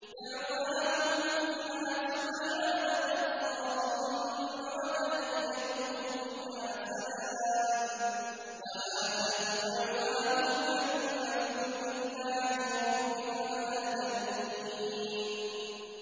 دَعْوَاهُمْ فِيهَا سُبْحَانَكَ اللَّهُمَّ وَتَحِيَّتُهُمْ فِيهَا سَلَامٌ ۚ وَآخِرُ دَعْوَاهُمْ أَنِ الْحَمْدُ لِلَّهِ رَبِّ الْعَالَمِينَ